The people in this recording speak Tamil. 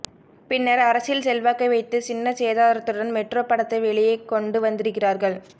பின்னர் அரசியல் செல்வாக்கை வைத்து சின்ன சேதாரத்துடன் மெட்ரோ படத்தை வெளியே கொண்டு வந்திருக்கிறார்கள்